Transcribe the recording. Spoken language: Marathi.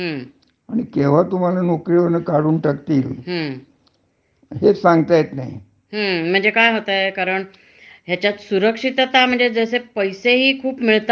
तशी पण सुरक्षितता नाही. म्हणजे, आता तर मध्ये ऐकलेलं होता की, हे जे आय टी क्षेत्र आहे, त्याच्यामध्ये तर म्हणे बर्याच लोकांना काढून टाकलेला आहे, म्हणजे